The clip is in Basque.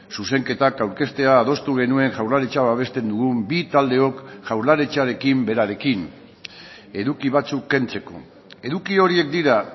zuzenketak aurkeztea adostu genuen jaurlaritza babesten dugun bi taldeok jaurlaritzarekin berarekin eduki batzuk kentzeko eduki horiek dira